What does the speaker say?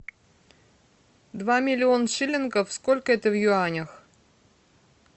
два миллион шиллингов сколько это в юанях